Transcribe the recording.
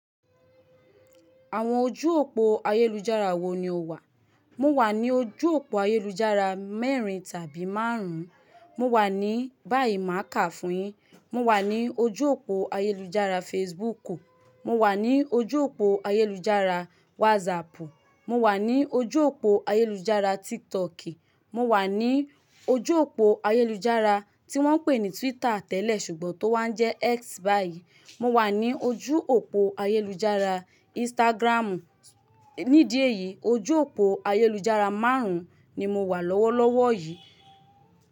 Àwọn ojú òpó ayélujára wo ni o wà? Mo wà ní ojú òpó ayélujára mẹ́rin tàbí márùn-ún. Mo wà ní bá yí máà kà fún yín. Mo wà ní ojú òpó ayélujára Facebook. Mo wà ní ojú òpó ayélujára WhatsApp. Mo wà ní ojú òpó ayélujára TikToki. Mo wà ní ojú òpó ayélujára tí wọ́n ń pè ní Twitter tẹ́lẹ̀ ṣùgbọ́n tó wá ń jẹ́ X báyìí. Mo wà ní ojú òpó ayélujára Instagramu. Nídì éyí ojú òpó ayélujára márùn-ún ni mo wà lọ́wọ́lọ́wọ́ yìí.